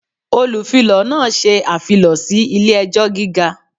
Olufilọ náà ṣe afilọ si ile-ẹjọ giga.